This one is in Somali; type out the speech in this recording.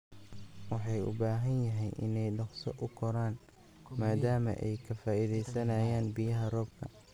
Waxay u badan tahay inay dhaqso u koraan maadaama ay ka faa'iidaysanayaan biyaha roobka